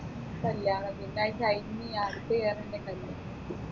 കല്യാണത്തിൻെറ ആരും ചെയ്യാൻ